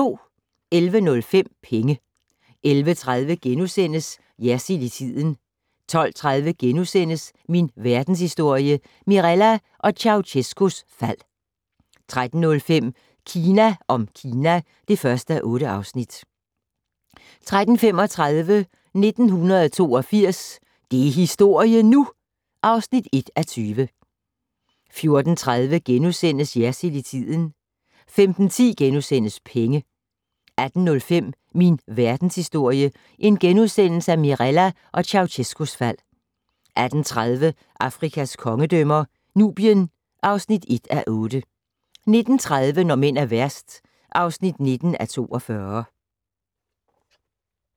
11:05: Penge 11:30: Jersild i tiden * 12:30: Min Verdenshistorie - Mirella og Ceaucescaus fald * 13:05: Kina om Kina (1:8) 13:35: 1982 - det er historie nu! (1:20) 14:30: Jersild i tiden * 15:10: Penge * 18:05: Min Verdenshistorie - Mirella og Ceaucescaus fald * 18:30: Afrikas kongedømmer - Nubien (1:8) 19:30: Når mænd er værst (19:42)